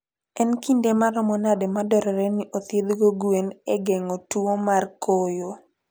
En kinde maromo nade madwarore ni othiedhgo gwen e geng'o tuwo mar koyo?